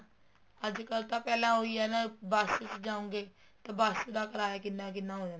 ਅੱਜਕਲ ਤਾਂ ਪਹਿਲਾ ਉਹੀ ਆ ਨਾ ਬੱਸ ਚ ਜਾਓਗੇ ਤਾਂ ਬੱਸ ਦਾ ਕਰਾਇਆ ਕਿੰਨਾ ਕਿੰਨਾ ਹੋ ਜਾਂਦਾ ਏ